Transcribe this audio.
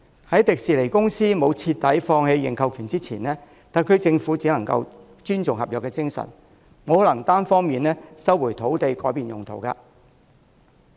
在迪士尼公司徹底放棄認購權前，特區政府只能尊重合約精神，不能單方面收回土地改變用途。